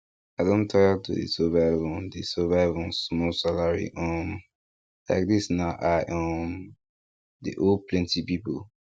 i don tire to dey survive on dey survive on small salary um like this now i um dey owe plenty people